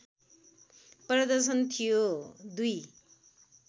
प्रदर्शन थियो २